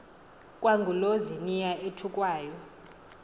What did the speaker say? kwangulo ziniya uthukwayo